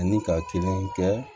Ani ka kelen kɛ